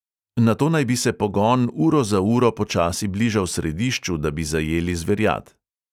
Nato naj bi se pogon uro za uro počasi bližal središču, da bi zajeli zverjad.